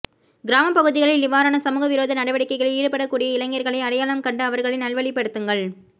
கிராமப் பகுதிகளில் இவ்வாறான சமூக விரோத நடவடிக்கைகளில் ஈடுபடக்கூடிய இளைஞர்களை அடையாளம் கண்டு அவர்களை நல்வழிப்படுத்துங்கள்